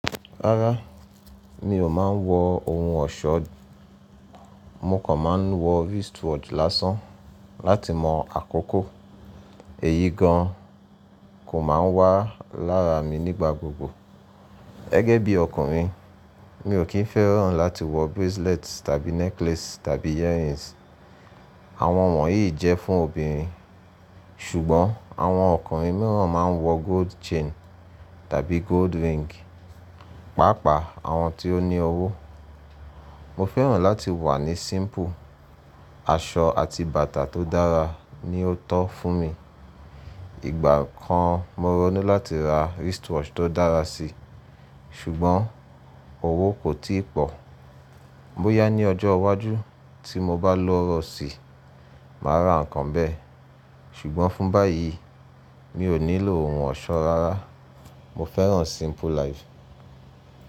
Rárá, mi ò máa ń wọ ohun ọ̀ṣọ. Mo kàn máa ń wọ wristwatch lásán láti mọ àkókò. Èyí gan kò máa wà lára mi nígbà gbogbo. Gẹ́gẹ́ bí ọkùnrin, mi ò kín fẹ́ràn láti wọ bracelet tàbí necklace tàbí earrings. Àwọn wọ̀nyí jẹ́ fún obìnrin. Ṣùgbọ́n àwọn ọkùnrin mìíràn máa ń wọ gold chain tàbí gold ring, pàápàá àwọn tí ó ní owó. Mo fẹ́ràn láti wà ní simple, aṣọ àti bàtà tó dára ni ó tọ́ fún mi. Ìgbà kan mo ronu láti ra wristwatch tó dára si, ṣùgbọ́n owó kò tíì pọ̀. Mó yá ní ọjọ́ iwájú tí mo bá lọ́rọ̀ sí, màá ra nǹkan bẹ́ẹ̀, ṣùgbọ́n fún báyìí mi ò nílò ohun ọ̀ṣọ́ rárá. Mo fẹ́ràn simple life.